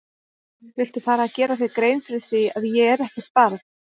Viltu fara að gera þér grein fyrir því að ég er ekkert barn!